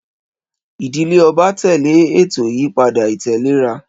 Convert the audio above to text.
Ìdílé ọba tẹ̀lé ètò ìyípadà ìtẹ̀léra.